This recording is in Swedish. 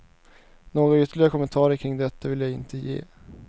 Några ytterligare kommentarer kring detta vill jag inte ge.